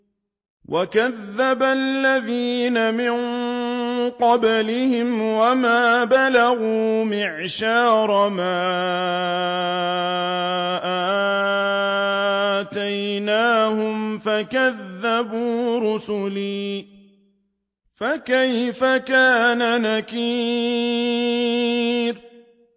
وَكَذَّبَ الَّذِينَ مِن قَبْلِهِمْ وَمَا بَلَغُوا مِعْشَارَ مَا آتَيْنَاهُمْ فَكَذَّبُوا رُسُلِي ۖ فَكَيْفَ كَانَ نَكِيرِ